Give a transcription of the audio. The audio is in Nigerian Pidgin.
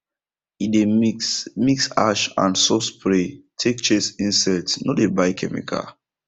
he dey mix mix ash and soap spray take chase insect no dey buy chemical